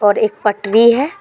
और एक पटरी है।